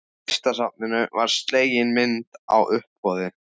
Listasafninu var slegin myndin á uppboði.